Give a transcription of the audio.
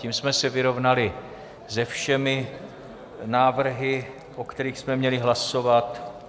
Tím jsme se vyrovnali se všemi návrhy, o kterých jsme měli hlasovat.